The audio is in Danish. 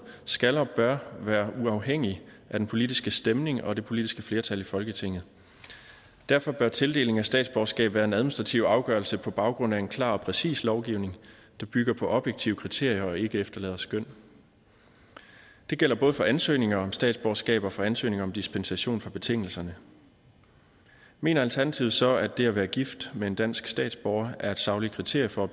skal og bør være uafhængig af den politiske stemning og det politiske flertal i folketinget derfor bør tildeling af statsborgerskab være en administrativ afgørelse på baggrund af en klar og præcis lovgivning der bygger på objektive kriterier og ikke efterlader skøn det gælder både for ansøgninger om statsborgerskab og for ansøgninger om dispensation fra betingelserne mener alternativet så at det at være gift med en dansk statsborger er et sagligt kriterie for at